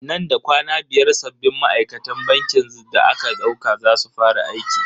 Nan da kwana biyar sabbin ma'aikatan bankin da aka dauka za su fara aiki.